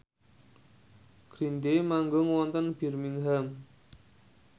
Green Day manggung wonten Birmingham